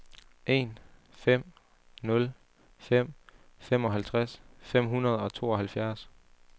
en fem nul fem femoghalvtreds fem hundrede og tooghalvfjerds